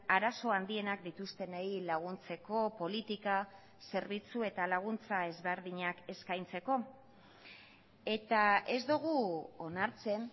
arazo handienak dituztenei laguntzeko politika zerbitzu eta laguntza ezberdinak eskaintzeko eta ez dugu onartzen